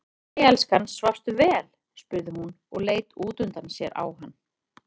Jæja elskan, svafstu vel, spurði hún og leit útundan sér á hann.